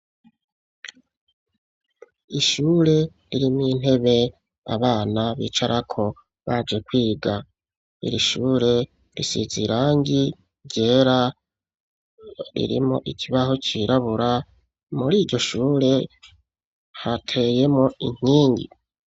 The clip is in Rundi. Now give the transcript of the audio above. Ishure ririmw’intebe abana bicarako baje kwiga ,iri shure risize irangi ryera ririmwo ikibaho cirabura ,muriryo shure hateyemwo inkingi.